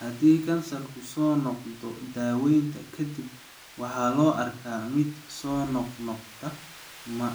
Haddii kansarku soo noqdo daawaynta ka dib, waxa loo arkaa mid soo noqnoqda, ma